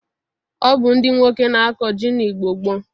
Ọ bụ ndị nwoke na-akọ ji n'Igbo gboo